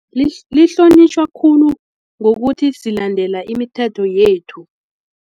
Lihlonitjhwa khulu ngokuthi silandela imithetho yethu.